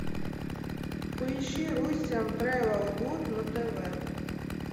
поищи руссиан трэвел гуд на тв